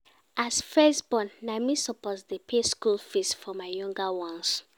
As first born, na me suppose dey pay school fees for my younger ones.